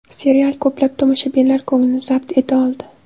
Serial ko‘plab tomoshabinlar ko‘nglini zabt eta oldi.